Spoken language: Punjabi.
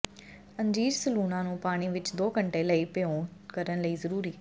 ਅੰਜੀਰ ਸਲੂਣਾ ਨੂੰ ਪਾਣੀ ਵਿਚ ਦੋ ਘੰਟੇ ਲਈ ਭਿਓ ਕਰਨ ਲਈ ਜ਼ਰੂਰੀ